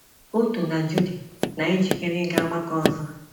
Otto na Judy, na - ejikere ịga ọgbakọ ọzọ